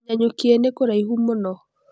Nanyuki nĩkũraihu mũno.